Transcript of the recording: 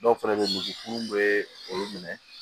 Dɔw fɛnɛ be ye misi munnu bee olu minɛ